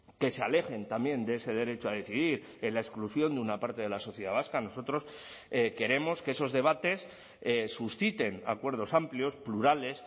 que se alejen también de ese derecho a decidir en la exclusión de una parte de la sociedad vasca nosotros queremos que esos debates susciten acuerdos amplios plurales